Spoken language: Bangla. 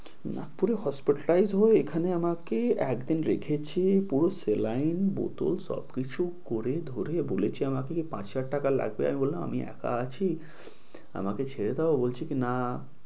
নাগপুরে hospitalize হয়ে এখানে আমাকে একদিন রেখেছে পুরো saline বোতল সবকিছু করে ধরে বলেছে আমাকে কি পাঁচ হাজার টাকা লাগবে। আমি বললাম আমি একা আছি আমাকে ছেড়ে দাও ও বলছে কি বলছে না,